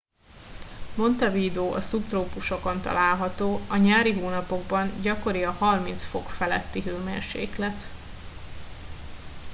montevideo a szubtrópusokon található; a nyári hónapokban gyakori a + 30°c feletti hőmérséklet